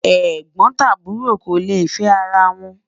ègbón tàbúrò kò lẹ fẹ àrà wón